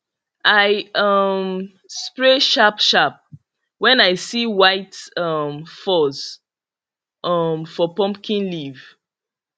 i um spray sharp sharp when i see white um fuzz um for pumpkin leaf